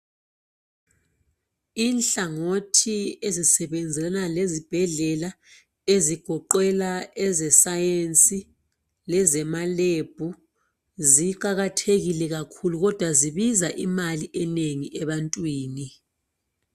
inhlangothiezisebenzelana lezibhedlela ezigoqela eze science lezema lab ziqakathekile kakhulu kodwa zibiza imali enengi ebantwini